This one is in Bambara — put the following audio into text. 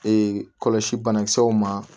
Ee kɔlɔsi banakisɛw ma